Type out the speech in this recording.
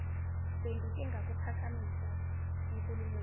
bengike ngakuphakamisa enkulumweni